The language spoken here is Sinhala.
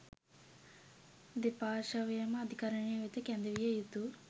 දෙපාර්ශ්වයම අධිකරණය වෙත කැඳවිය යුතු